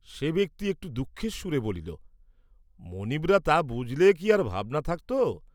সে ব্যক্তি একটু দুঃখের সুরে বলিল, মনীবরা তা বুঝলে কি আর ভাবনা থাকত?